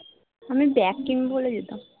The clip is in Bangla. আমি bag কিনবো বলে যেতাম